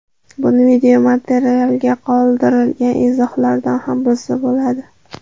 Buni videomaterialga qoldirilgan izohlardan ham bilsa bo‘ladi.